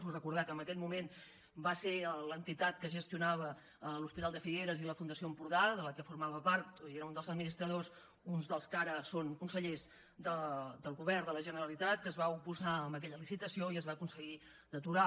vull recordar que en aquell moment va ser l’entitat que gestionava l’hospital de figueres i la fundació empordà de la qual formava part i n’era un dels administradors uns dels que ara són consellers del govern de la generalitat que es va oposar a aquella licitació i es va aconseguir d’aturar